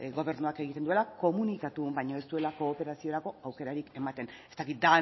gobernuak egiten duela komunikatu baino ez duelako operaziorako aukerarik ematen ez dakit